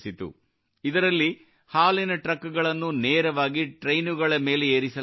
ಇದರಲ್ಲಿ ಹಾಲಿನ ಟ್ರಕ್ ಗಳನ್ನು ನೇರವಾಗಿ ಟ್ರೈನುಗಳ ಮೇಲೆ ಏರಿಸಲಾಗುತ್ತಿತ್ತು